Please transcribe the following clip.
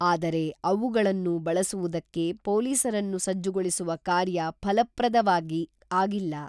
ಆದರೆ ಅವುಗಳನ್ನು ಬಳಸುವುದಕ್ಕೆ ಪೊಲೀಸರನ್ನು ಸಜ್ಜುಗೊಳಿಸುವ ಕಾರ್ಯ ಫಲಪ್ರದವಾಗಿ ಆಗಿಲ್ಲ.